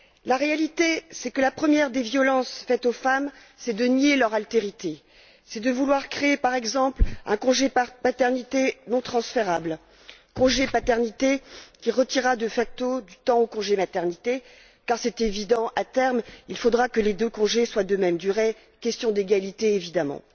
La réalité, c'est que la première des violences faites aux femmes, c'est de nier leur altérité. C'est de vouloir créer, par exemple, un congé de paternité non transférable, congé de paternité qui retirera de facto du temps au congé de maternité, car il est évident qu'à terme, il faudra que les deux congés soient de même durée question d'égalité, évidemment.